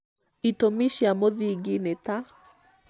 itũmi cia mũthingi nĩ ta: